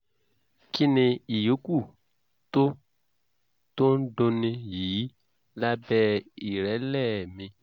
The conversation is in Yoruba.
kí ni ìyókù tó tó ń dunni yìí lábẹ́ ìrẹ́lẹ̀ mi?